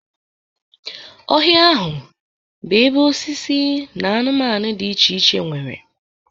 Ọhịa ahụ bụ ebe osisi na anụmanụ dị iche iche nwere.